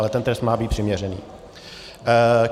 Ale ten trest má být přiměřený.